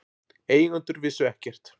Eigendur vissu ekkert